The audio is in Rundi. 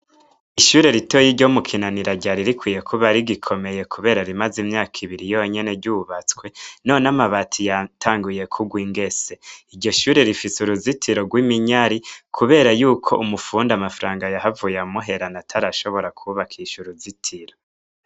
Ishure ritoya ryo mu Kinanira ryari rikwiye kuba rigikomeye kubera rimaze imyaka ibiri yonyene ryubatswe. None amabati yatanguye kuwa ingese. Iryo shure rifise uruzitiro rw' iminyari kubera yuko umufundi amafaranga yahavuye amuherana atarashobora kwubakisha uruzitiro.